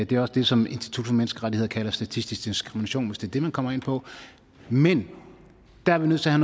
det er også det som institut for menneskerettigheder kalder statistisk diskrimination hvis det er det man kommer ind på men der er vi nødt til at